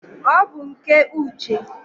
ọ bụ nke Uche.